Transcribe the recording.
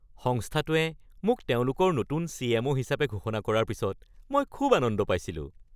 সংস্থাটোৱে মোক তেওঁলোকৰ নতুন চি.এম.অ. হিচাপে ঘোষণা কৰাৰ পিছত মই খুব আনন্দ পাইছিলোঁ।